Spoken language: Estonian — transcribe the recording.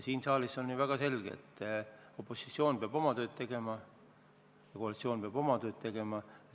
Siin saalis on ju väga selge, et opositsioon peab oma tööd tegema ja koalitsioon peab oma tööd tegema.